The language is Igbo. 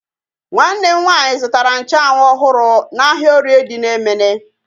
Nwanne m nwaanyị zụtara nchanwu ọhụrụ n'ahia orie dị na Emene